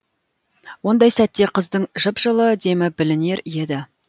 ондай сәтте қыздың жып жылы демі білінер еді